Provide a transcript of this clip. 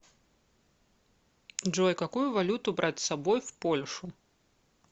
джой какую валюту брать с собой в польшу